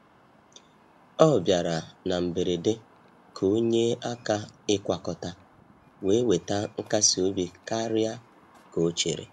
Ọ bịara na mberede ka ọ nyee aka ịkwakọta, wee weta nkasi obi karịa ka ọ chere.